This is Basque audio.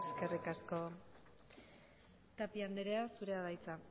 eskerrik asko tapia andrea zurea da hitza